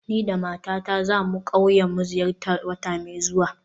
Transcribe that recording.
Ni da matata za mu zo ƙauyen mu ziyarta wata mai zuwa